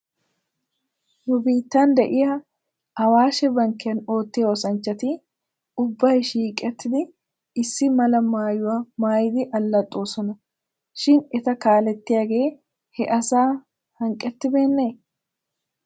Nu biittan de'iyaa awaashshe bankkiyan oottiyaa oosanchchati ubbay shiiqettidi issi mala maayuwaa maayidi allaxoosona shin eta kaalettiyaagee he asata hanqqettibeenee?